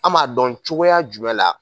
An m'a dɔn cogoya jumɛn la ?